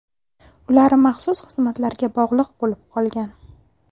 Ular maxsus xizmatlarga bog‘liq bo‘lib qolgan.